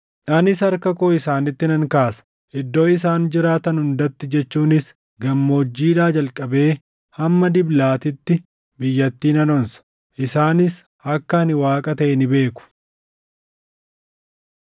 Anis harka koo isaanitti nan kaasa; iddoo isaan jiraatan hundatti jechuunis gammoojjiidhaa jalqabee hamma Diblaatiitti biyyattii nan onsa. Isaanis akka ani Waaqa taʼe ni beeku.’ ”